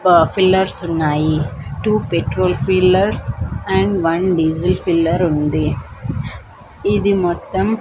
ప ఫిల్లెర్స్ ఉన్నాయి two petrol fillers and one diesel filler ఉంది ఇది మొత్తం.